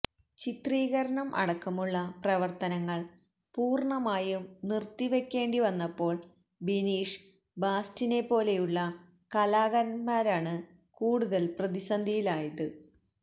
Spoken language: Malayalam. ചിത്രീകരണം അടക്കമുള്ള പ്രവര്ത്തനങ്ങള് പൂര്ണമായും നിര്ത്തിവയ്ക്കേണ്ടി വന്നപ്പോള് ബിനീഷ് ബാസ്റ്റിനെപ്പോലെയുള്ള കലാകാരന്മാരാണ് കൂടുതൽ പ്രതിസന്ധിയിലായത്